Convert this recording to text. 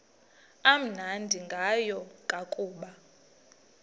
amnandi ngayo kukuba